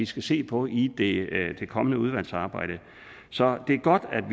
skal se på i det i det kommende udvalgsarbejde så det er godt at